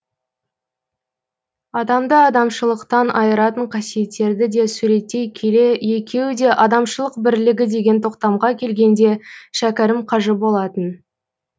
адамды адамшылықтан айыратын қасиеттерді де суреттей келе екеуі де адамшылық бірлігі деген тоқтамға келгенде шәкәрім қажы болатын